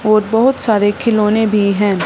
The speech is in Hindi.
और बहुत सारे खिलौने भी हैं।